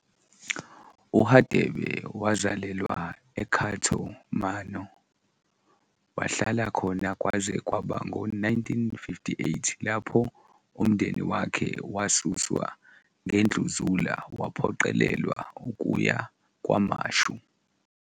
U-Radebe wazalelwa eCato Manor, wahlala khona kwaze kwaba ngo-1958 lapho umndeni wakhe wasuswa ngendluzula waphoqelelwa ukuya KwaMashu.